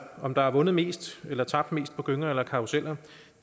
om der er vundet mest eller tabt mest på gyngerne eller karrusellerne